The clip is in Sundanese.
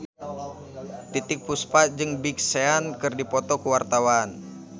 Titiek Puspa jeung Big Sean keur dipoto ku wartawan